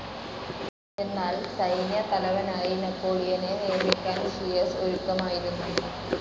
എന്നാൽ സൈന്യത്തലവനായി നെപ്പോളിയനെ നിയമിക്കാൻ ഷിയെസ് ഒരുക്കമായിരുന്നു.